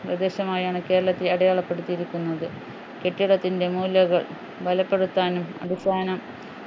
പ്രദേശമായാണ് കേരളത്തെ അടയാളപ്പെടുത്തിയിരിക്കുന്നത് കെട്ടിടത്തിൻ്റെ മൂലകൾ ബലപ്പെടുത്താനും അടിസ്ഥാനം